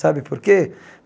Sabe por quê?